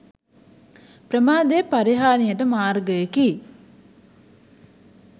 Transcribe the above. ප්‍රමාදය පරිහාණියට මාර්ගයකි.